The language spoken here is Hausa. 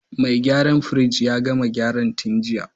Mai gyaran firij ya gama gyara tun jiya.